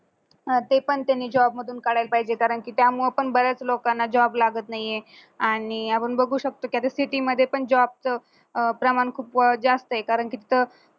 हा ते पण त्यांनी job मधून काढायला पाहिजे कारण की त्यामुळे पण बऱ्याच लोकांना job लागत नाहीये आणि आपण बघू शकतो परिस्थितीमध्ये पण job प्रमाण खूप जास्तये कारण तिथं